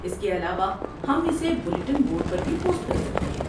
اس کے علاوہ، ہم اسے بلیٹن بورڈ پر بھی پوسٹ کر سکتے ہیں۔